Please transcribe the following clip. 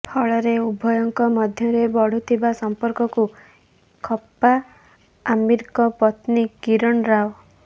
ଫଳରେ ଉଭୟଙ୍କ ମଧ୍ୟରେ ବଢୁଥିବା ସଂପର୍କକୁ ଖପ୍ପା ଆମୀରଙ୍କ ପତ୍ନୀ କିରଣ ରାଓ